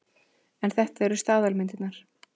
En þetta eru staðalmyndirnar.